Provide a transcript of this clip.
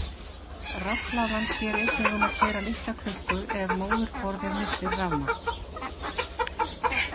Rafhlaðan sér einnig um að keyra litla klukku ef móðurborðið missir rafmagn.